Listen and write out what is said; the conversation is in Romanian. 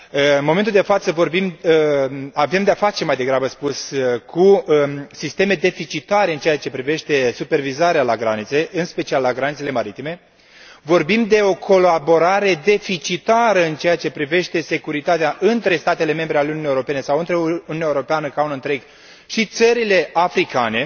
În momentul de față vorbim, avem de a face mai degrabă spus, cu sisteme deficitare în ceea ce privește supervizarea la granițe, în special la granițele maritime, vorbim de o colaborare deficitară în ceea ce privește securitatea între statele membre ale Uniunii Europene sau între Uniunea Europeană ca un întreg și țările africane,